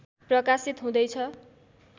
प्रकाशित हुँदैछ